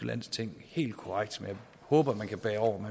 landsting helt korrekt men jeg håber man kan bære over